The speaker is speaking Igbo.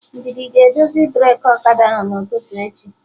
Ndidi ga-edozi breki ọkada ahụ n'ụtụtụ echi